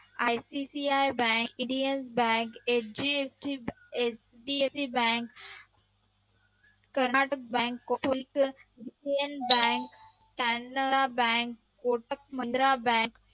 ICCI bank, Indian Bank, HDFC Bank Karnataka Bank, Canara Bank, Kotak Mahindra Bank,